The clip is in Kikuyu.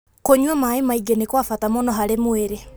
Kũnyua maĩ maingĩ nĩ kwa bata mũno harĩ mwĩrĩ.